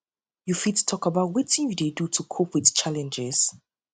you fit talk about wetin you dey do to cope to cope with challenges